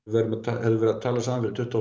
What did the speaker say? við hefðum verið að tala saman fyrir tuttugu